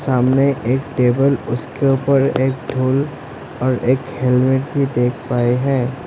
सामने एक टेबल उसके ऊपर एक ढोल और एक हेलमेट भी देख पाए हैं।